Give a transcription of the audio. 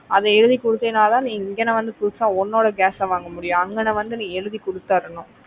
அதை எழுதிக் கொடுத்தேனா தான் நீ இங்க வந்து புதுசா உன்னோட gas வாங்க முடியும் அங்கன வந்து நீ எழுதி கொடுதரணும்